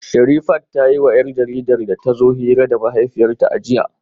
Sherifat ta yiwa 'yar jaridar da ta zo hira da mahaifiyarta a jiya